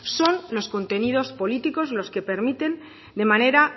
son los contenidos políticos los que permiten de manera